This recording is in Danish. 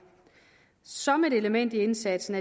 som et element i indsatsen